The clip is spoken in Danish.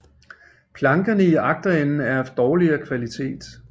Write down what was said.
Plankerne i agterenden er af dårligere kvalitet